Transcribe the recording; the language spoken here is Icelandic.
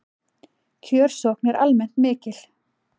Kjörsókn er almennt mikil